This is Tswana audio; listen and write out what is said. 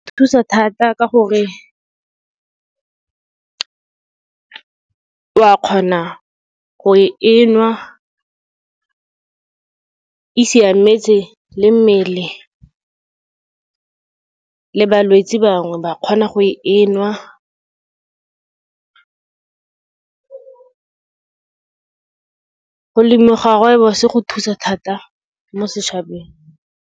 Thusa thata ka gore, o a kgona go e nwa, e siametse le mmele, le balwetse bangwe ba kgona go e nwa. Go lemiwa ga rooibos-e go thusa thata mo setšhabeng.